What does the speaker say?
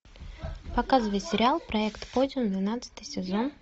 показывай сериал проект подиум двенадцатый сезон